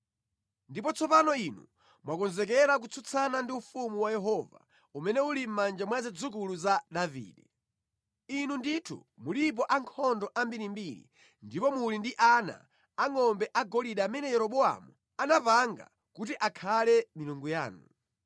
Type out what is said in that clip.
“Ndipo tsopano inu mwakonzekera kutsutsana ndi ufumu wa Yehova, umene uli mʼmanja mwa zidzukulu za Davide. Inu ndithu mulipo ankhondo ambirimbiri ndipo muli ndi ana angʼombe agolide amene Yeroboamu anapanga kuti akhale milungu yanu.